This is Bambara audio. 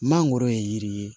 Mangoro ye yiri ye